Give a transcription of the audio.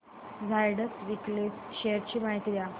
Zydus wellness shares ची माहिती द्या